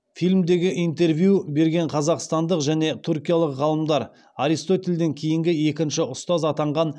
фильмдегі интервью берген қазақстандық және түркиялық ғалымдар аристотельден кейінгі екінші ұстаз атанған